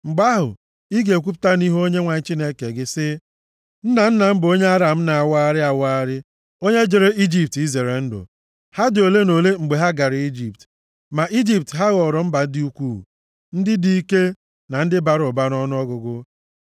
Mgbe ahụ, ị ga-ekwupụta nʼihu Onyenwe anyị Chineke gị sị, “Nna nna m bụ onye Aram na-awagharị awagharị, onye jere Ijipt izere ndụ. + 26:5 Onye a na-ekwu banyere ya bụ Jekọb, \+xt Hos 12:12; Jen 43:3; 45:7,11\+xt* Ha dị ole na ole mgbe ha gara Ijipt, ma nʼIjipt ha ghọrọ mba dị ukwuu, ndị dị ike, na ndị bara ụba nʼọnụọgụgụ.